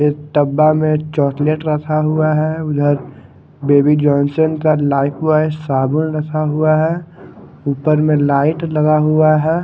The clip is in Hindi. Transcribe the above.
इस डब्बा में चॉकलेट रखा हुआ है उधर बेबी जॉनसन का लाइफ बॉय साबुन रखा हुआ है ऊपर में लाइट लगा हुआ है।